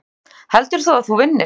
Sindri: Heldur þú að þú vinnir?